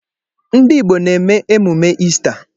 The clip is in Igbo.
Ndị Igbo na-eme emume Ista.